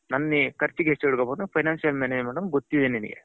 ನನ್ನಾ ಕರ್ಚಿಗೆ ಎಷ್ಟು ಇಡಬೇಕು financial management ಅನ್ನೋದು ಗೊತ್ತಿದೆ ನಿನಗೆ.